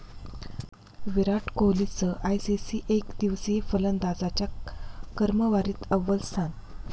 विराट कोहलीचं आयसीसी एकदिवसीय फलंदाजांच्या क्रमवारीत अव्वल स्थान